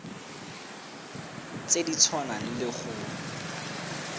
tse di tshwanang le go